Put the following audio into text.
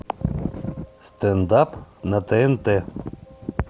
стендап на тнт